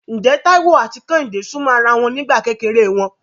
Ǹjẹ́ Táíwò àti Kẹ́hìndé súnmọ́ ara wọn nígbà kékeré wọn?